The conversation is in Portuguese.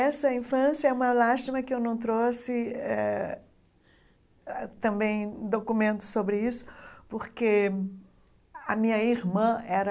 Essa infância é uma lástima que eu não trouxe eh também documentos sobre isso, porque a minha irmã era